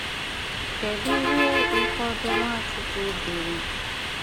Kèdù ìhè ụfọdụ Nwàchùkwù dìrì?